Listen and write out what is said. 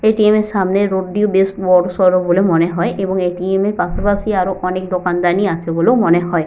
ATM. এর সামনের road টিও বড়সড় বলে মনে হয় এবং এ.টি.এম. এর পাশাপাশি আরো অনেক দোকানদানি আছে বলেও মনে হয় ।